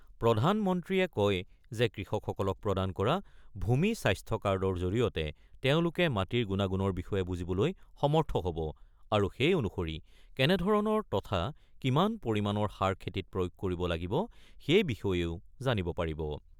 প্ৰধানমন্ত্ৰীয়ে কয় যে কৃষকসকলক প্ৰদান কৰা ভূমি স্বাস্থ্যকাৰ্ডৰ জৰিয়তে তেওঁলোকে মাটিৰ গুণাগুণৰ বিষয়ে বুজিবলৈ সমৰ্থ হ'ব আৰু সেই অনুসৰি কেনে ধৰণৰ তথা কিমান পৰিমাণৰ সাৰ খেতিত প্ৰয়োগ কৰিব লাগিব সেই বিষয়েও জানিব পাৰিব।